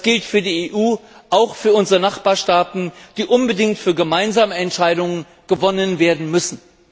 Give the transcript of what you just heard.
Das gilt für die EU und auch für unsere Nachbarstaaten, die unbedingt für gemeinsame Entscheidungen gewonnen werden müssen.